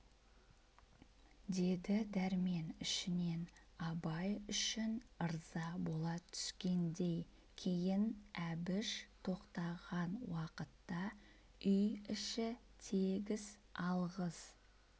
деді дәрмен ішінен абай үшін ырза бола түскендей кейін әбіш тоқтаған уақытта үй іші тегіс алғыс